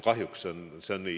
Kahjuks see on nii.